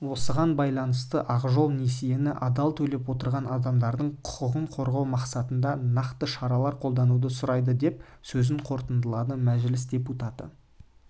осған байланысты ақ жол несиені адал төлеп отырған адамдардың құқығын қорғау мақсатында нақты шаралар қолдануды сұрайды деп сөзін қорытындылады мәжіліс депутаты